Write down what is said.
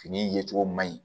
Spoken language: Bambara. Fini ye cogo man ɲi